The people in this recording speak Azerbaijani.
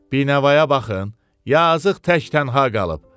Binəvaya baxın, yazığ tək tənha qalıb.